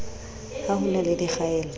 ha ho na le dikgaello